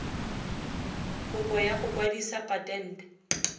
kopo ya go kwadisa patente